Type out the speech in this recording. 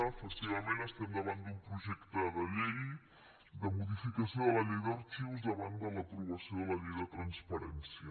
efectivament estem davant d’un projecte de llei de modificació de la llei d’arxius davant de l’aprovació de la llei de transparència